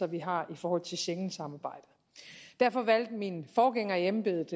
vi har i forhold til schengensamarbejdet derfor valgte min forgænger i embedet